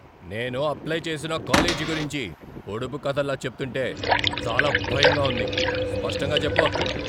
నేను అప్లై చేసిన కాలేజీ గురించి పొడుపు కధల్లా చెప్తుంటే చాలా భయంగా ఉంది. స్పష్టంగా చెప్పు.